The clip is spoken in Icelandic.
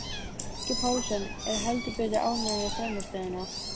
Helgi Pálsson er heldur betur ánægður með frammistöðuna.